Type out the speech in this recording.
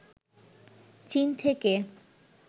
চীন থেকে